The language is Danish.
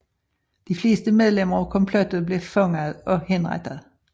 De fleste medlemmer af komplottet blev fanget og henrettet